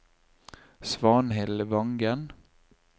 Svanhild Vangen